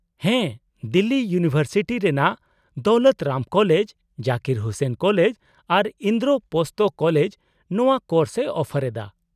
-ᱦᱮᱸ, ᱫᱤᱞᱞᱤ ᱤᱭᱩᱱᱤᱵᱷᱟᱨᱥᱤᱴᱤ ᱨᱮᱱᱟᱜ Daulat Ram college , Zakir Husain college ᱟᱨ ᱤᱱᱫᱨᱳᱯᱚᱥᱛᱷᱚ ᱠᱚᱞᱮᱡ ᱱᱚᱶᱟ ᱠᱳᱨᱥ ᱮ ᱚᱯᱷᱟᱨ ᱮᱫᱟ ᱾